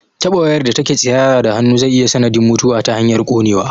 Taɓa wayar da take tsirara da hannu zai iya sanadin mutuwa ta hanyar ƙonewa